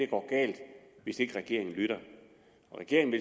går galt hvis ikke regeringen lytter og regeringen